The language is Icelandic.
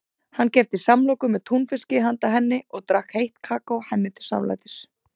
Hann keypti samloku með túnfiski handa henni og drakk heitt kakó henni til samlætis.